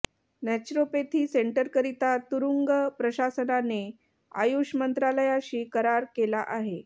naturopathy सेंटरकरिता तुरुंग प्रशासनाने आयुष मंत्रालयाशी करार केला आहे